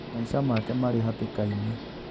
Maica make marĩ hatĩka-inĩ